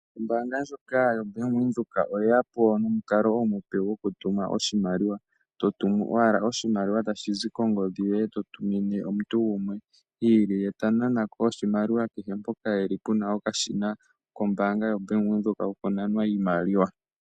Ombaanga ndyoka yoBank Windhoek, oyeyapo nomukalo omupe gwotuma oshimaliwa. Totumu owala oshimaliwa tashi zi kongodhi yoye totumine omuntu gumwe iili, ye tananako oshimaliwa kehe mpoka e li puna okashina kombaanga yoBank Windhoek kokunanwa iimaliwa.